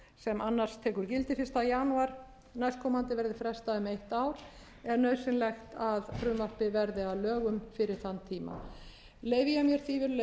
sem annars tekur gildi fyrsta janúar næstkomandi verði frestað um eitt ár og er nauðsynlegt að frumvarpið verði að lögum á haustþingi leyfi ég mér því virðulegi forseti